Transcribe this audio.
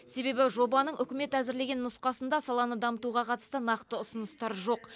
себебі жобаның үкімет әзірлеген нұсқасында саланы дамытуға қатысты нақты ұсыныстар жоқ